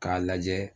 K'a lajɛ